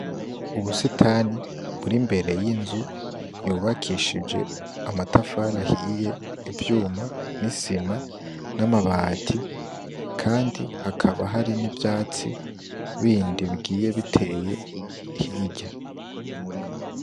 Ubusitani buri imbere yinzu yubakishije amatafari ahiye ivyuma nisima namabati kandi hakaba hari nivyatsi bindi bigiye biteye hirya.